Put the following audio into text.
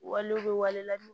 Walew bɛ wale ladon